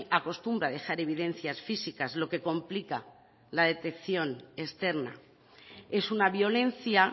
acostumbra a dejar evidencias físicas lo que complica la detección externa es una violencia